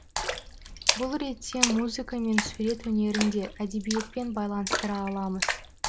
бұл ретте музыка мен сурет өнерін де әдебиетпен байланыстыра аламыз